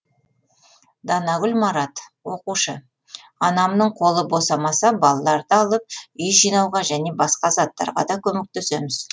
данагүл марат оқушы анамның қолы босамаса балаларды алып үй жинауға және басқа заттарға да көмектесеміз